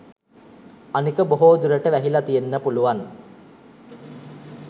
අනික බොහෝ දුරට වැහිල තියෙන්න පුළුවන්